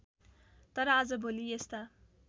तर आजभोलि यस्ता